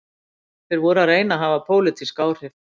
Þeir voru að reyna að hafa pólitísk áhrif